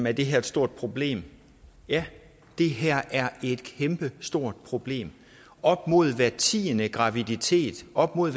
er det her et stort problem ja det her er et kæmpestort problem op mod hver tiende graviditet op mod